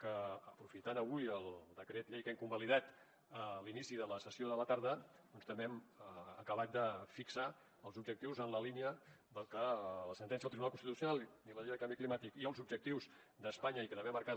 que aprofitant avui el decret llei que hem convalidat a l’inici de la sessió de la tarda doncs també hem acabat de fixar els objectius en la línia del que la sentència del tribunal constitucional i la llei de canvi climàtic i els objectius d’espanya i que també ha marcat